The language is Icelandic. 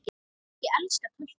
Ég elska töltið.